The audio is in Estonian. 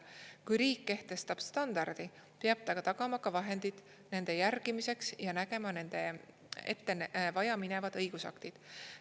Kui riik kehtestab standardi, peab ta tagama ka vahendid nende järgimiseks ja nägema ette vajaminevad õigusaktid.